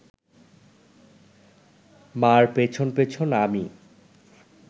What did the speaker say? মা’র পেছন পেছন আমি